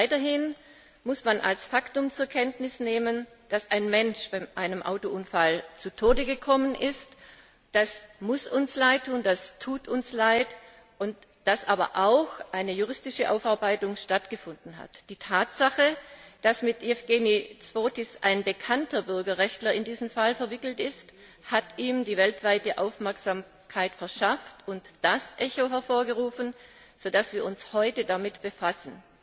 Weiters muss man als Faktum zur Kenntnis nehmen, dass ein Mensch bei einem Autounfall zu Tode gekommen ist das muss uns leidtun, das tut uns leid dass aber auch eine juristische Aufarbeitung stattgefunden hat. Die Tatsache, dass mit Jevgenij Zhovtis ein bekannter Bürgerrechtler in diesen Fall verwickelt ist, hat ihm die weltweite Aufmerksamkeit verschafft und das Echo hervorgerufen, aufgrund dessen wir uns heute damit befassen.